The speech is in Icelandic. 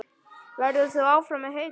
Verður þú áfram með Hauka?